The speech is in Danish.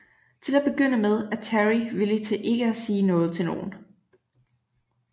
Til at begynde med er Terry villig til ikke at sige noget til nogen